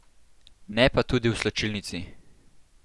Ne pa tudi v slačilnici.